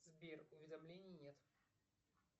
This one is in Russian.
сбер уведомлений нет